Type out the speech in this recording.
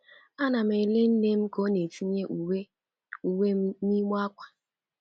Ana m ele nne m ka ọ na-etinye uwe uwe m n’igbe ákwà.